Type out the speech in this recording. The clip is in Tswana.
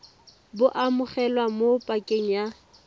bo amogelwa mo pakeng ya